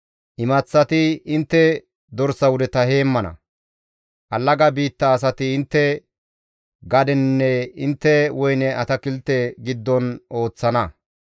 Imaththati intte dorsa wudeta heemmana; allaga biitta asati intte gadeninne intte woyne atakilte giddon ooththana.